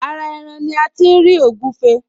Ara ẹran ní a ti ń ri ògúfe